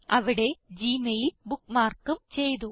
അവിടെ ഗ്മെയിൽ bookmarkഉം ചെയ്തു